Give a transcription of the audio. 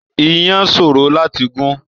Iyán sòrò láti gún.